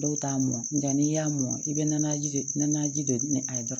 Dɔw t'a mɔn nka n'i y'a mɔn i bɛ na ji de a dɔrɔn